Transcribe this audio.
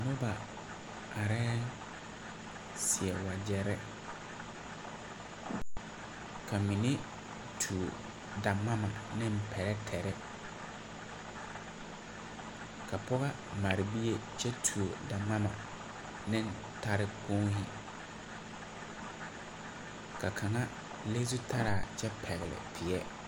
Noba arɛɛ seɛ wagyɛre ka mine tuo daŋmama ne pɛrɛtɛre ka pɔge mare bie kyɛ tuo daŋmama ne tarekponi ka kaŋa le zutara kyɛ pɛgle peɛ.